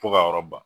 Fo ka yɔrɔ ban